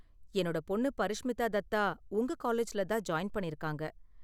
என்னோட பொண்ணு பரிஷ்மித்தா தத்தா உங்க காலேஜ்ல தான் ஜாயின் பண்ணிருக்காங்க.